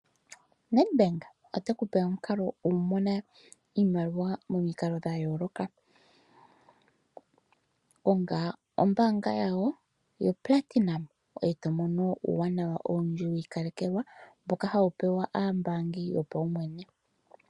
Nedbank ote kupe omukalo go kumona iimaliwa momikalo dha yooloka. Konga ombaanga yawo yo platinum, ngoye to mono uuwanawa owundji wa ikalekelwa, mboka hawu pewa aambaangi yopaumwene.